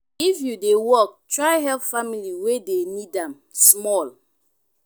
if you dey work try help family wey dey need am small.